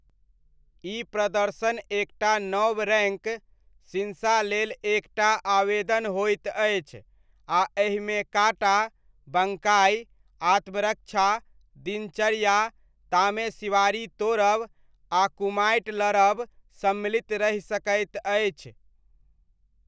ई प्रदर्शन एकटा नव रैङ्क, शिन्सा लेल एक टा आवेदन होइत अछि आ एहिमे काटा, बङ्काइ, आत्मरक्षा, दिनचर्या, तामेसिवारी तोड़ब आ कुमाइट लड़ब सम्मिलित रहि सकैत अछि।